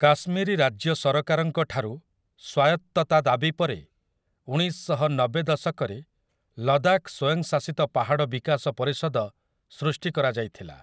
କାଶ୍ମୀରୀ ରାଜ୍ୟ ସରକାରଙ୍କ ଠାରୁ ସ୍ୱାୟତ୍ତତା ଦାବି ପରେ ଉଣେଇଶଶହ ନବେ ଦଶକରେ 'ଲଦାଖ୍ ସ୍ୱୟଂଶାସିତ ପାହାଡ଼ ବିକାଶ ପରିଷଦ' ସୃଷ୍ଟି କରାଯାଇଥିଲା ।